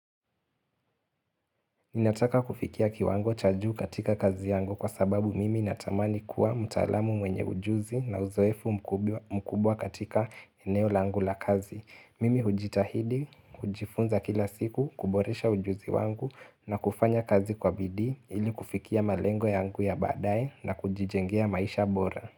Ninataka kufikia kiwango cha juu katika kazi yangu kwa sababu mimi natamani kuwa mtaalamu mwenye ujuzi na uzoefu mkubwa katika eneo langu la kazi. Mimi hujitahidi, hujifunza kila siku, kuboresha ujuzi wangu na kufanya kazi kwa bidi ili kufikia malengo yangu ya baadaye na kujijengea maisha bora.